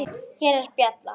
Hér er bjalla.